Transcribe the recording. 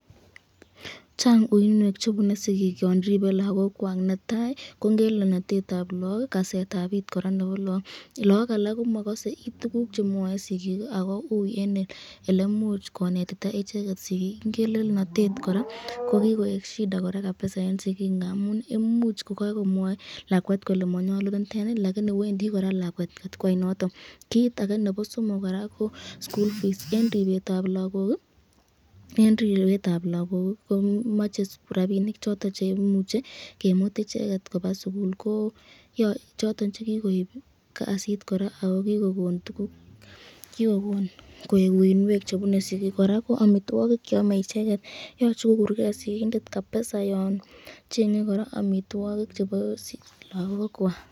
Chang uinwek chebune sigik yon ribee lagokwak, netai ko ngelelnatetab lagok, ak kasetab it nebo lagok ,lagok alak komakase kit nemwae sikik ako ui koraa elenetito icheket sikik, ingelenotet koraa kokikoek shida koraa kabisa eng sikik ngamun ii imuch kokakomwai lakwet kolee manyalu ,niteni lakini Wendi koraa lakwet takwai noton, kit ake nebo somok koraa ko school fees eng ribetab lagoki komache rapinik choton cheimuche kimut icheket kobaa sukul ko choton chekikoib ii kasit koraa ako kikokon koek uinwek chebune sikik, koraa ko amitwokik cheame lagok, yoche kokurken sigindet kabisa yon chenge kora amitwokik chebo lagok kwak.